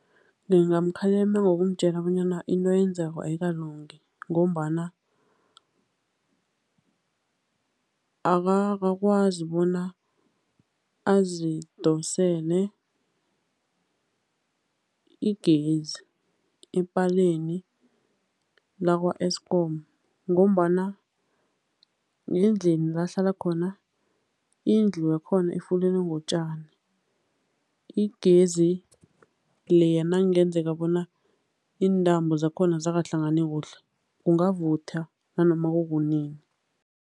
Ngingamkhalima ngoumtjela bona into ayenzako ayikalungi ngombana akakwazi bona azidosele igezi epaleni lakwa-Eskom ngombana ngendlini la ahlala khona, indlu yakhona ifulelwe ngotjani, igezi leya nakungenzeka bona iintambo zakhona azakahlangani kuhle, kungavutha nanoma kukunini.